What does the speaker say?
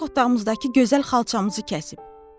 Qonaq otağımızdakı gözəl xalçamızı kəsib.